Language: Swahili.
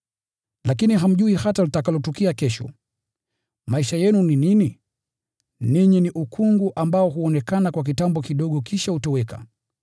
Lakini hamjui hata litakalotukia kesho. Maisha yenu ni nini? Ninyi ni ukungu ambao huonekana kwa kitambo kidogo kisha hutoweka.